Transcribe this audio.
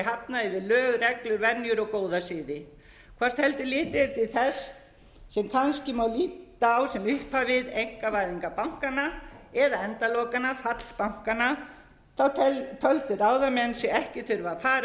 hafna eftir lög reglur venjur og góða siði hvort heldur litið er til þess sem kannski má líta á sem upphafið einkavæðingar bankanna eða endalokanna fall bankanna töldu ráðamenn sig ekki þurfa að fara